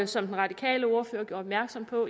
som den radikale ordfører gjorde opmærksom på